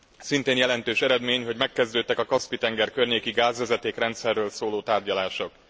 Szintén jelentős eredmény, hogy megkezdődtek a Kaszpi tenger környéki gázvezetékrendszerről szóló tárgyalások.